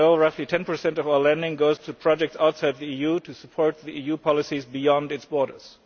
As you know, roughly 10 of all lending goes to projects outside the EU, to support the EUʼs policies beyond its borders.